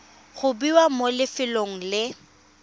go bewa mo lefelong le